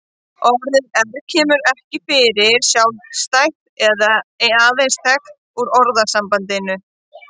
Orðið erg kemur ekki fyrir sjálfstætt og er aðeins þekkt úr orðasambandinu.